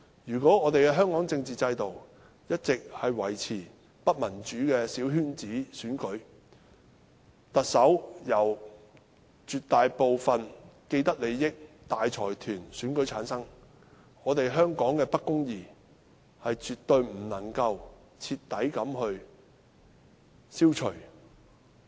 如果香港的政治制度一直維持不民主的小圈子選舉，特首由絕大部分既得利益者和大財團選出，香港的不公義絕對無法徹底消除。